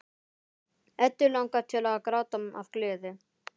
Eddu langar til að gráta af gleði.